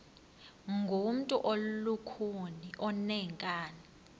ngumntu olukhuni oneenkani